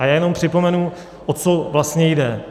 A já jenom připomenu, o co vlastně jde.